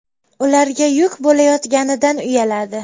Ularga yuk bo‘layotganidan uyaladi.